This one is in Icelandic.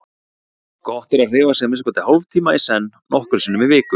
Gott er að hreyfa sig að minnsta kosti hálftíma í senn nokkrum sinnum í viku.